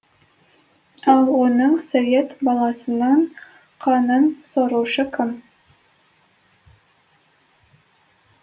ал оның совет баласының қанын сорушы кім